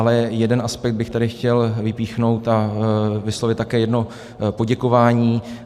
Ale jeden aspekt bych tady chtěl vypíchnout a vyslovit také jedno poděkování.